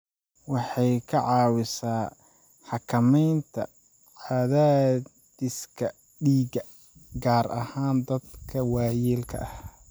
Waxay ka caawisaa xakamaynta cadaadiska dhiigga, gaar ahaan dadka waayeelka ah.